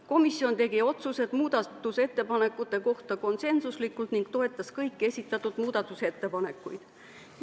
Komisjon tegi otsused muudatusettepanekute kohta konsensuslikult ning toetas kõiki esitatud muudatusettepanekuid.